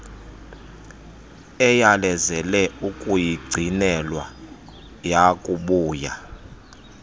eyalezele ukuyigcinelwa yakubuya